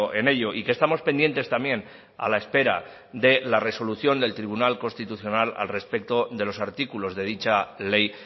en ello y que estamos pendientes también a la espera de la resolución del tribunal constitucional al respecto de los artículos de dicha ley